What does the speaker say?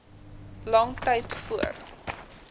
lang tyd voor